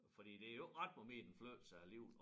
Fordi det jo ikke ret meget mere den flytter sig alligevel